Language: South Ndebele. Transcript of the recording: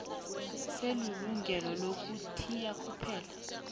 selungelo lokuthiya kuphela